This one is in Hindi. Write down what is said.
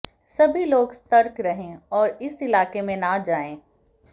सभी लोग सतर्क रहें और उस इलाके में न जाएं